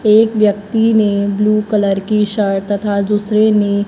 एक व्यक्ति ने ब्लू कलर की शर्ट तथा दूसरे ने--